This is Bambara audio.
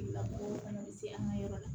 Tigilamɔgɔw fana bɛ se an ka yɔrɔ la